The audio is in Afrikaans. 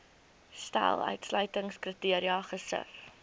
stel uitsluitingskriteria gesif